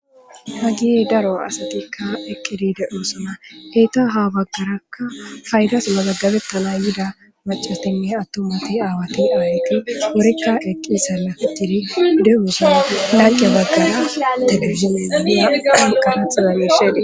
Hagiyey daro asatikka eqqidideu suna heyta ha baggarakka faydas mazaggabetala yida macasinne attomati aawati aarqi worikka eqqisa lafitidi de'uusanai lanqe baggara telefizime gadana an kafaxaza gishede.